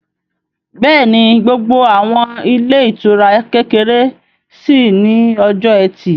Bẹ́ẹ̀ni, gbogbo àwọn ilé ìtura kékeré ṣí ní ọjọ́ ẹtì